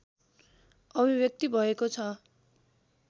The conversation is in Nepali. अभिव्यक्ति भएको छ